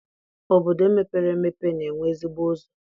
Obodo mepere emepe na-enwe ezigbo ụzọ